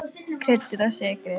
Kryddið og sykrið.